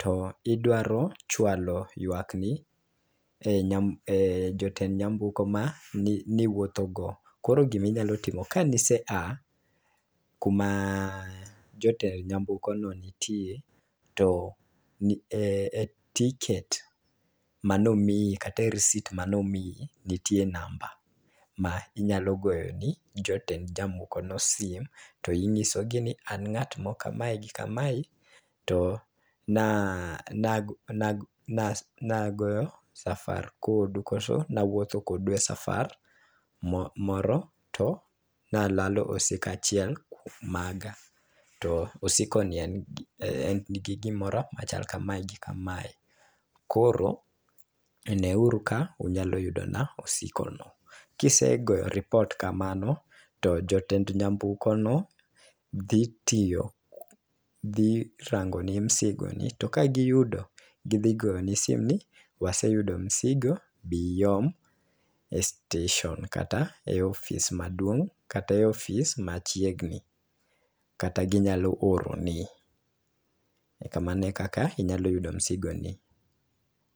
to idwaro chwalo ywak ne nyambu e jotend nyamburko mani wuotho go .Koro giminyalo timo kani se a kuma jotend nyamburko ne ntie to e ticket manomiyi kata e risit manomiyi nitie namba ma inyalo goyo ni jotend jamoko no sim to inyiso gi an ng'at ma kama gi kamae to na na na na nagoyo safar kodu koso nawuotho kodu e safar mo moro to nalalo osika achiel maga, to osigo ni en nigi gimoro machal kamae gi kamae, koro ne uru ka unyalo yudone osigo no . Kisegoyo report kamano to jotend nyamburko no dhi tiyo dhi rango ni msigo nito ka giyudo gidhi goni simu ni waseyudo msigo biom e station kata e ofis maduong' kata ofis machiegni kata ginyalo oro ni . Kamano e kaka inyalo yudo msigo ni.